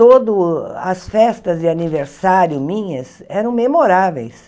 Todo o as festas de aniversário minhas eram memoráveis.